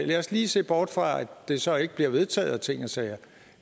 lad os lige se bort fra at det så ikke bliver vedtaget og ting og sager